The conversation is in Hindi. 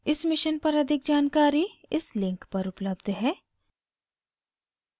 इस mission पर अधिक जानकारी इस link पर उपलब्ध है